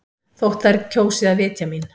Þótt þær kjósi að vitja mín.